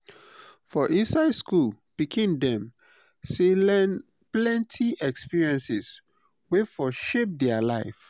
for inside school pikin dem sey learn plenty experiences wey for shape their life